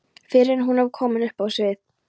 fyrr en hún er komin upp á svið.